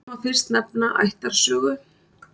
Þar má fyrst nefna ættarsögu.